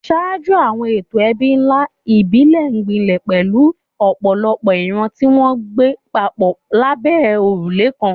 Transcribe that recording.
Ṣáájú, àwọn ètò ẹbí ńlá ìbílẹ̀ gbilẹ̀, pẹ̀lú ọ̀pọ̀lọpọ̀ ìran tí wọ́n ń gbé papọ̀ lábẹ́ òrùlé kan.